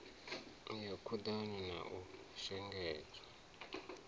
ya khuḓano na u shengedzwa